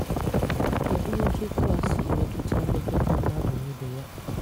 Kédù òtu okwu a sí métùtà mmekọta mmadụ na ìbè yà?